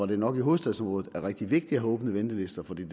det nok i hovedstadsområdet er rigtig vigtigt at have åbne ventelister for det